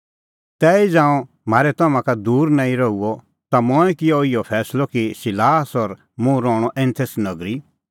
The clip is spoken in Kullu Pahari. तैही ज़ांऊं म्हारै तम्हां का दूर नांईं रहूअ ता मंऐं किअ इहअ फैंसलअ कि सिलास और मुंह रहणअ एथेंस नगरी